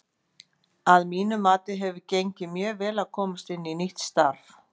Að mínu mati hefur gengið mjög vel að komast inn í nýtt starf.